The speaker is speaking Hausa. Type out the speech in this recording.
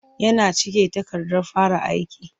Yana cike takardar fara aiki.